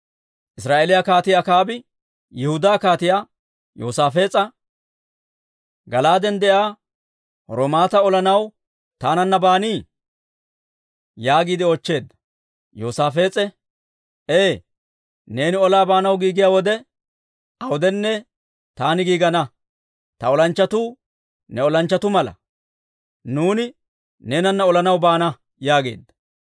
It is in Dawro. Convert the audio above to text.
Israa'eeliyaa Kaatii Akaabi Yihudaa Kaatiyaa Yoosaafees'a, «Gala'aaden de'iyaa Raamoota olanaw taananna baanii?» yaagiide oochcheedda. Yoosaafees'e, «Ee, neeni olaa baanaw giigiyaa wode awudenne taani giigana. Ta olanchchatuu ne olanchchatuu mala; nuuni neenana olanaw baana» yaageedda.